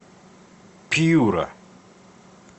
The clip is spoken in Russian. пьюра